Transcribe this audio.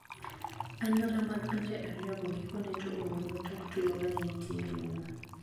Anyuola mag pinje ariyogo gikone to oromo tok tulo mane nitie rumo.